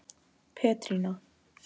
Petrína